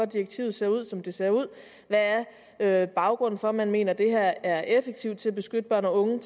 direktivet ser ud som det ser ud hvad baggrunden er for at man mener at det her er effektivt til at beskytte børn og unge